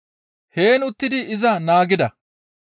Heen uttidi iza naagida.